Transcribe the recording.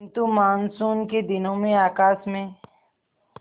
किंतु मानसून के दिनों में आकाश में